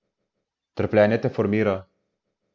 Trpljenje te formira.